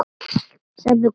Sem þú komst með.